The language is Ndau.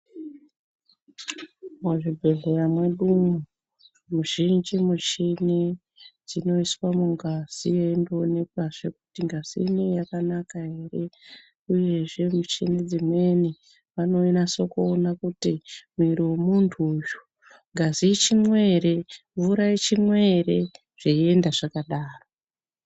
Muzvibhehleya mwedu umu muzhinji mushini dzinoiswa mungazi yeimboonekwazve kuti ngazi inei yakanaka ere uyezve michini dzimweni vanonase kuona kuti mwiri memuntu uyu ngazi ichimwo ere, mvura ichimwo ere zveienda zvakadaro.